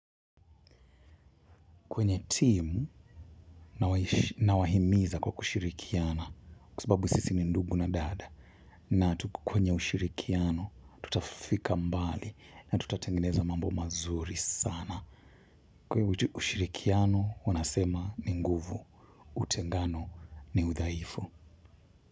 Kwenye timu nawahimiza kwa kushirikiana kwa sababu sisi ni ndugu na dada na kwenye ushirikiano tutafika mbali na tutatengeneza mambo mazuri sana. Kwaivo ushirikiano nasema ni nguvu, utengano ni udhaifu.